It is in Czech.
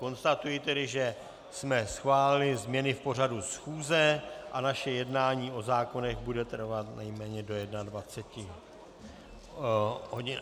Konstatuji tedy, že jsme schválili změny v pořadu schůze a naše jednání o zákonech bude trvat nejméně do 21 hodin.